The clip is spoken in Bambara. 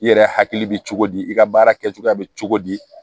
I yɛrɛ hakili bɛ cogo di i ka baara kɛcogoya bɛ cogo di